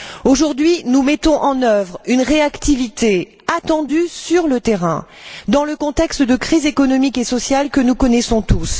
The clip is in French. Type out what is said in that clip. Aujourd'hui, nous mettons en œuvre une réactivité attendue sur le terrain, dans le contexte de crise économique et sociale que nous connaissons tous.